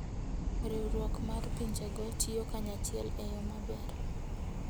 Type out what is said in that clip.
Riwruok mar pinjego tiyo kanyachiel e yo maber.